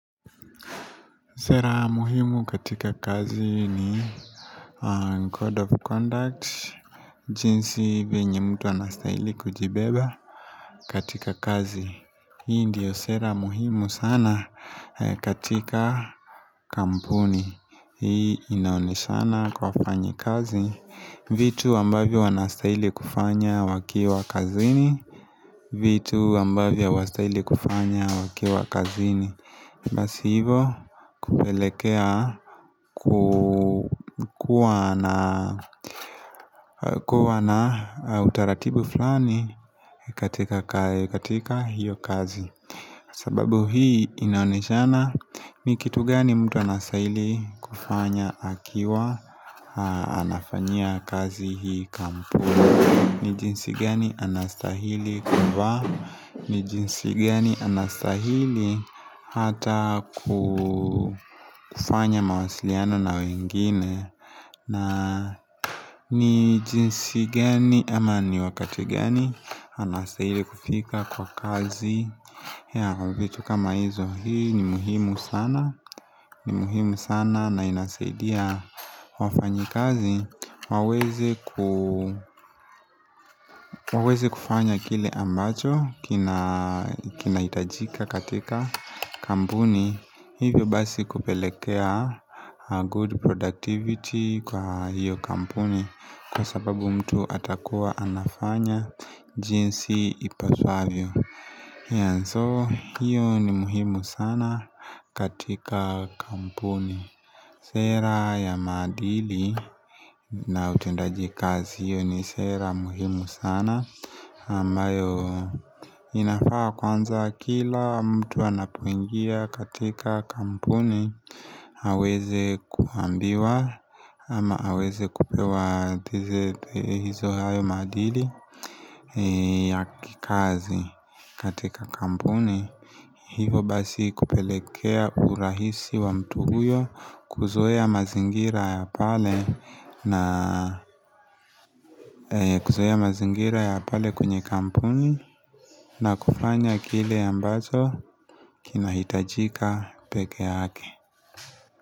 Sera muhimu katika kazi ni Code of conduct jinsi venye mtu anastaili kujibeba katika kazi Hii ndiyo sera muhimu sana katika Kampuni Hii inaoneshana kwa fanyi kazi vitu ambavyo anastaili kufanya wakiwa kazini vitu ambavyo anastaili kufanya wakiwa kazini Basi hivo kupelekea kukua na utaratibu fulani katika kaya katika hiyo kazi sababu hii inaonejana ni kitu gani mtu anasahili kufanya akiwa anafanyia kazi hii kampu ni jinsi geni anastahili kumba ni jinsi geni anastahili hata kufanya mawasiliano na wengine na ni jinsi geni ama ni wakati geni Anastahili kufika kwa kazi yea kwa vitu kama hizo hii ni muhimu sana ni muhimu sana na inasaidia wafanyi kazi Wawezi kufanya kile ambacho kina itajika katika kampuni Hivyo basi kupelekea good productivity kwa hiyo kampuni Kwa sababu mtu atakuwa anafanya jinsi ipafavyo And so hiyo ni muhimu sana katika kampuni Sera ya madili na utendaji kazi hiyo ni sera muhimu sana Amayo inafaa kwanza kila mtu anapuingia katika kampuni Haweze kuambiwa ama haweze kupewa tizete hizo hayo maadili ya kazi katika kampuni Hivo basi kupelekea urahisi wa mtu huyo kuoa mazingira ya pale kwenye kampuni na kufanya kile ambazo kinahitajika peke hake.